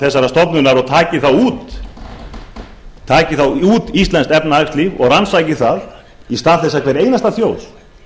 þessarar stofnunar og taki það út íslenskt efnahagslíf og rannsaki það í stað þess að hver einasta þjóð